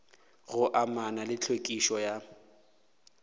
go amana le tlhwekišo ya